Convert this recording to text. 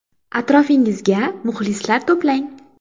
Atrofingizga muxlislar to‘plang .